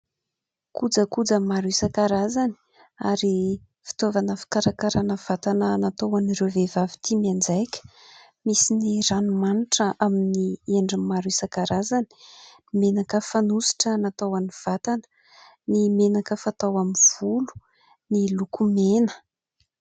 Kojakoja maro isan-karazany ary fitaovana fikarakarana vatana natao ho an'ireo vehivavy tia mianjaika. Misy ny ranomanitra amin'ny endriny maro isan-karazany, menaka fanosotra natao ho an'ny vatana, ny menaka fatao amin'ny volo, ny lokomena.